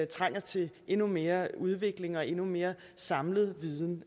trænger til endnu mere udvikling og endnu mere samlet viden